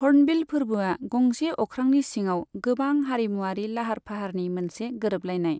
Hornbill फोरबोआ गंसे अख्रांनि सिङाव गोबां हारिमुआरि लाहार फाहारनि मोनसे गोरोबलायनाय।